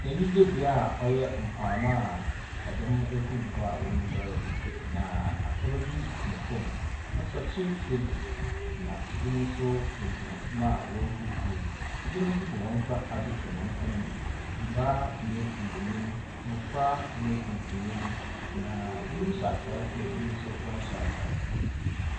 Anyigye bea a ɔyɛ mpoano a ɛdɔm wakogu hɔ a wɔregware. Na afraba bi tsena fom. Asrɔkye ebu , na ebinom nso wogyina hɔ a wɔre huru huruw. Ebinom nso dze wɔnsa atoto wɔn kɔnmu, mbaa nye mbanyin, mmɔfra nye mpanyin. Na ebinom tsena fom a wɔnhyɛ star.